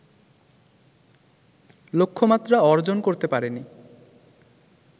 লক্ষ্যমাত্রা অর্জন করতে পারেনি